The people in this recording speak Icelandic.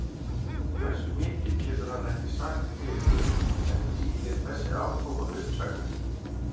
Um hversu mikið getur hann ekki sagt til um en þýðir þessi afkoma uppsagnir?